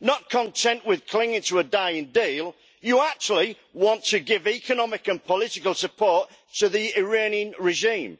Not content with clinging to a dying deal, you actually want to give economic and political support to the Iranian regime.